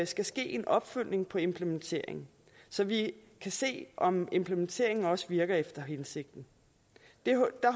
skal ske en opfølgning på implementeringen så vi kan se om implementeringen også virker efter hensigten der